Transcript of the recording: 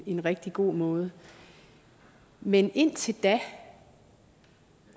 en rigtig god måde men indtil da